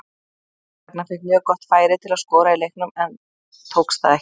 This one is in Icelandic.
Ragnar fékk mjög gott færi til að skora í leiknum en tókst það ekki.